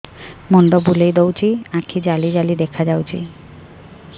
ମୁଣ୍ଡ ବୁଲେଇ ଦଉଚି ଆଖି ଜାଲି ଜାଲି ଦେଖା ଯାଉଚି